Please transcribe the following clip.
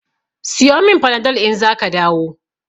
Siyo min Panadol in zaka dawo.